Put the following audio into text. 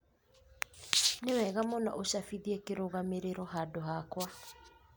Nĩ wega mũno úcabithie kĩrũgamĩrĩro handũ hakwa